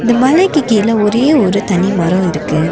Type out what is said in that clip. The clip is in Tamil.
இந்த மலைக்கு கீழ ஒரே ஒரு தனி மரோம் இருக்கு.